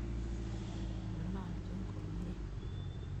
Ng'alalchi komnyie